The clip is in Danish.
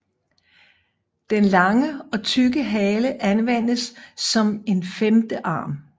Den lange og tykke hale anvendes som en femte arm